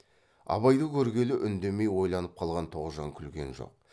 абайды көргелі үндемей ойланып қалған тоғжан күлген жоқ